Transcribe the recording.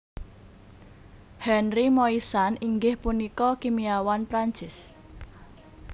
Henri Moissan inggih punika kimiawan Prancis